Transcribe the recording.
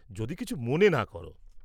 যদি কিছু মনে না কর।